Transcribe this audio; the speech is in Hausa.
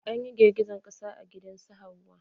An yi girgijen ƙasa a gidan su Hauwa.